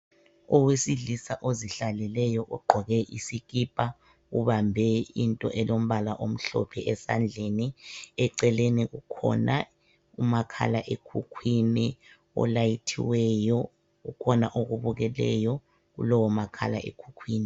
Owesilisa ozihlaleleyo ogqoke isikipa ubambe into elombala omhlophe esandleni eceleni kukhona umakhala ekhukwini olayithiweyo ukhona okubukeleyo kulowo makhala ekhukhwini